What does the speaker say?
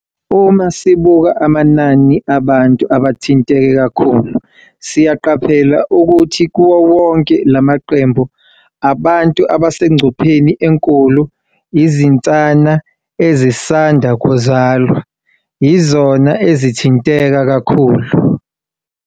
"Uma sibuka amanani abantu abathinteke kakhulu, siyaqaphela ukuthi kuwo wonke lamaqembu abantu abasengcupheni enkulu, izinsana ezisanda kuzalwa yizona ezithinteka kakhulu."